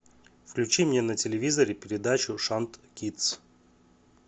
включи мне на телевизоре передачу шант кидс